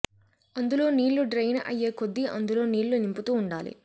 అందులో నీళ్లు డ్రెయిన్ అయ్యే కొద్దీ అందులో నీళ్లు నింపుతూ ఉండాలి